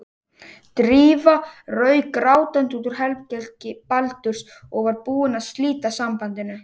Drífa rauk grátandi út úr herbergi Baldurs og var búin að slíta sambandinu.